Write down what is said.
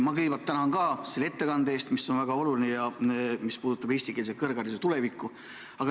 Ma kõigepealt tänan ka selle ettekande eest, mis on väga oluline ja puudutab eestikeelse kõrghariduse tulevikku.